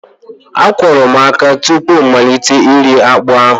Akwọrọ m aka tupu m malite iri akpu ahụ